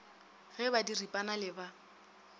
ge ba diripana le ba